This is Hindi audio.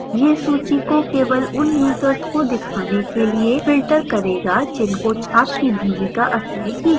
यह सूची को केवल उन यूजर्स को दिखाने के लिए filter करेगा जिनको छात्र की भूमिका असाइन की गई है